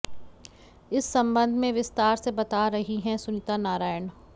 इस संबंध में विस्तार से बता रही हैं सुनीता नारायण